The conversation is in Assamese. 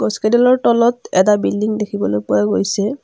গছ কেইডালৰ তলত এটা বিল্ডিং দেখিবলৈ পোৱা গৈছে।